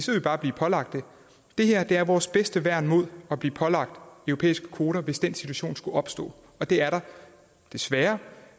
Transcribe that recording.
vi bare blive pålagt det det her er vores bedste værn mod at blive pålagt europæiske kvoter hvis den situation skulle opstå og det er der desværre